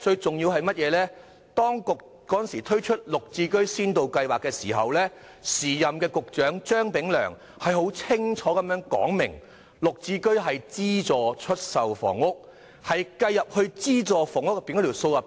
此外，當局推出"綠置居"的時候，時任局長張炳良清楚指出，"綠置居"屬於資助出售房屋，應計算在資助房屋的數字內。